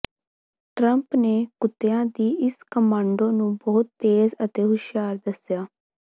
Trump ਨੇ ਕੁੱਤਿਆਂ ਦੀ ਇਸ ਕਮਾਂਡੋ ਨੂੰ ਬਹੁਤ ਤੇਜ਼ ਅਤੇ ਹੁਸ਼ਿਆਰ ਦੱਸਿਆ